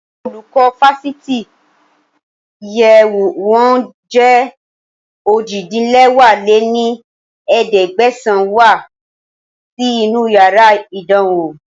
Àwọn olùkọ́ Fásitì tí iye wọn jẹ́ ojì-din-lẹwá lé ní ẹ̀ẹ́dẹ́gbẹ́sán wá sí inú yàrá ìdánwò